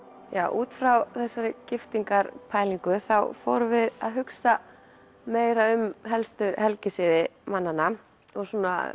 út frá þessari þá fórum við að hugsa meira um helstu helgisiði mannanna og